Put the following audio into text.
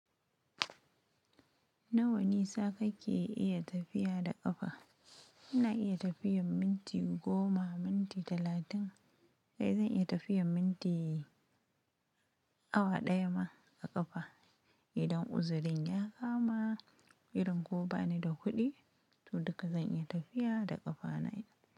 Nawa nisa kake iya tafiya da ƙafa? Ina iya tafiyar minti goma, minti talatin kai zan iya tafiyar minti awa ɗaya ma a ƙafa idan uzurin ya kama irin ko bani da kuɗi, to duka zan iya tafiya da ƙafa na.